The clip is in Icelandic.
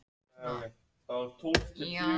Dagheiður, hækkaðu í hátalaranum.